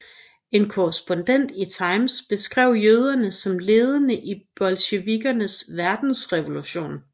En korrespondent i Times beskrev jøderne som ledende i bolsjevikkernes verdensrevolution